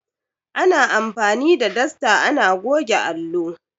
Ana anfani da dasta ana goge allo.